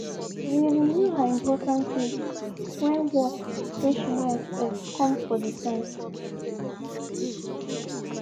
she de renew her important list when work wey she no expect come for dey time.